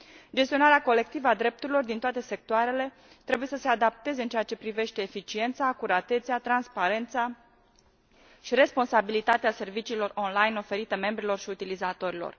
Gestionarea colectivă a drepturilor din toate sectoarele trebuie să se adapteze în ceea ce privește eficiența, acuratețea, transparența și responsabilitatea serviciilor online oferite membrilor și utilizatorilor.